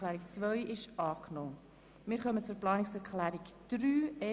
6.c Altersbereich Kürzung Beiträge Tagesstätten (Altersbereich) (Massnahme 44.3.1)